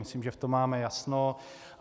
Myslím, že v tom máme jasno.